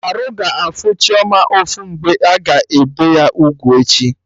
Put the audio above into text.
Arụ ga-afụ Chioma ụfụ mgbe a ga-ebe ya ugwu echi